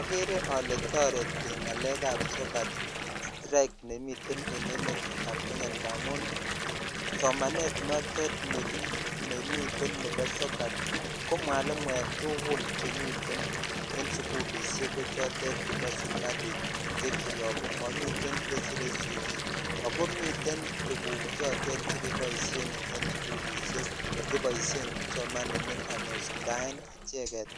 Okere olee toreti ng'alekab sokat strike nemiten en emetab Kenya ndamun somanet notet nemiten nebo sokat ko mwalimuek tukul chemiten en sukulishek ko chotet chemiten serikali chekiyoku momiten chesire sikik ak ko miten tukuk chotet chekeboishen en sukulishek cheboishen kipsomaninik ak kosuldaen icheket